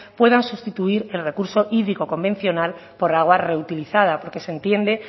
puedan sustituir el recurso hídrico convencional por agua reutilizada porque se entiende